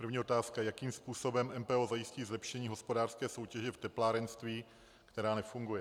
První otázka: Jakým způsobem MPO zajistí zlepšení hospodářské soutěže v teplárenství, která nefunguje?